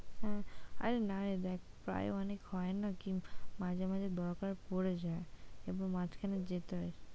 হ্যাঁ, আরে নারে দেখ প্রায় অনেক হয়না যে মাঝে মাঝে দরকার পড়ে যায় এবং মাঝখানে যেতে হয়।